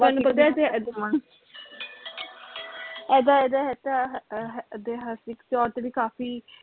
ਤੁਹਾਨੂੰ ਪਤਾ ਇਥੇ ਅਹ ਇਹਦਾ ਇਹਦਾ ਅਹ ਇਤਿਹਾਸਿਕ ਤੋਰ ਤੇ ਵੀ ਕਾਫੀ